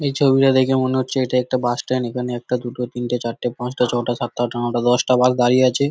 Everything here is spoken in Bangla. এই ছবিটা দেখে মনে হচ্ছে এটা একটা বাস স্ট্যান্ড । এখানে একটা দুটো তিনটে চারটে পাঁচটা ছটা সাতটা আটটা নটা দশটা বাস দাঁড়িয়ে আছে।